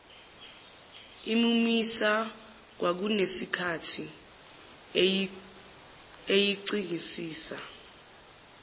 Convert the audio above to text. imumisa kwakusenesikhathi eyicingisisa